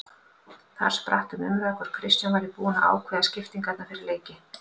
Þar spratt um umræða hvort Kristján væri búinn að ákveða skiptingarnar fyrir leiki.